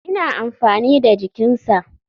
Ina amfani da jikinsa.